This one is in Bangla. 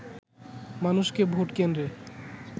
মানুষকে ভোট কেন্দ্রে